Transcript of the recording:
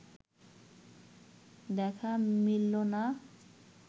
দেখা মিলল না